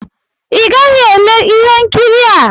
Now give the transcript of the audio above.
ị gaghị ele ihe nkiri a!